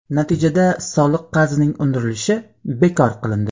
Natijada soliq qarzining undirilishi bekor qilindi.